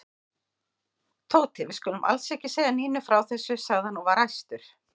Tóti, við skulum alls ekki segja Nínu frá þessu sagði hann og var æstur.